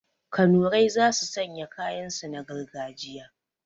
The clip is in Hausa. Kanurai za su sanya kayan su na gargajiya